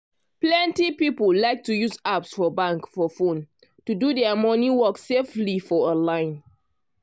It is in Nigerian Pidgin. plenty people like to use apps for bank for phone to do dia money work safely for online.